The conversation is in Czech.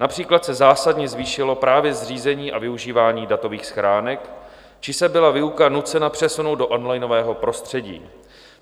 Například se zásadně zvýšilo právě zřízení a využívání datových schránek či se byla výuka nucena přesunout do onlinového prostředí.